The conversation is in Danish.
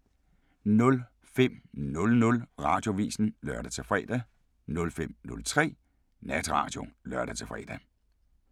05:00: Radioavisen (lør-fre) 05:03: Natradio (lør-fre)